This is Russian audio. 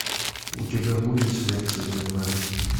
у тебя будет смерть супермена